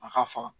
A ka faga